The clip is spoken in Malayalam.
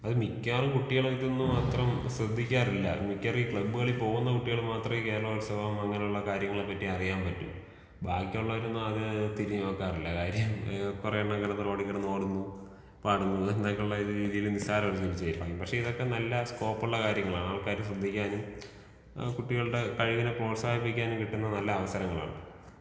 അത് മിക്കാറും കുട്ടികൾ ഇതൊന്നും അത്രം ശ്രദ്ധിക്കാറില്ല. മിക്കാറും ഈ ക്ലബ്ബുകളിൽ പോകുന്ന കുട്ടികൾ മാത്രേ ഈ കേരളോത്സവം അങ്ങനെയുള്ള കാര്യങ്ങളെപ്പറ്റി അറിയാൻ പറ്റൂ. ബാക്കിയുള്ളവരൊന്നും അങ്ങനെ തിരിഞ്ഞ് നോക്കാറില്ല. കാര്യം കൊറേയെണ്ണം ഇങ്ങനെ റോഡില്‍ കിടന്ന് ഓടുന്നു പാടുന്നു എന്നൊക്കെയുള്ള രീതിയിൽ നിസ്സാരവല്‍ക്കരിച്ചിരിക്കയാണ്. പക്ഷേ ഇതൊക്കെ നല്ല സ്കോപ്പുള്ള കാര്യങ്ങളാണ്. ആൾക്കാര് ശ്രദ്ധിക്കാനും ആ കുട്ടികളുടെ കഴിവിനെ പ്രോത്സാഹിപ്പിക്കാനും കിട്ടുന്ന നല്ല അവസരങ്ങളാണ്.